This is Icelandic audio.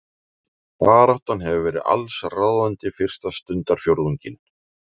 Baráttan hefur verið allsráðandi fyrsta stundarfjórðunginn